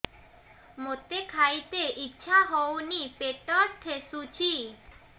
ମୋତେ ଖାଇତେ ଇଚ୍ଛା ହଉନି ପେଟ ଠେସୁଛି